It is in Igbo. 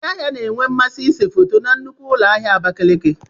Ndị ahịa na-enwe mmasị ịse foto na nnukwu ụlọ ahịa Abakaliki.